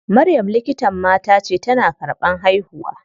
Maryam likitan mata ce, tana karɓan haihuwa.